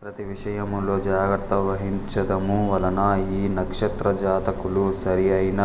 ప్రతి విషయములో జాగ్రత్త వహిమ్చదము వలన ఇ నక్షత్ర జాతకులు సరి అయిన